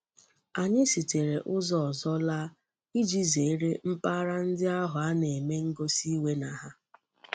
Anyi sitere uzo ozo laa, Iji zere mpaghara ndi ahu a na-eme ngosi iwe na ha.